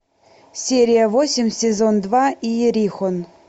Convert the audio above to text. серия восемь сезон два иерихон